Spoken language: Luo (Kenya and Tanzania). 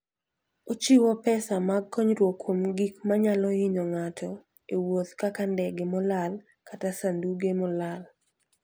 Ochiwo pesa mag konyruok kuom gik manyalo hinyo ng'ato e wuoth kaka ndege molal kata sanduge molal.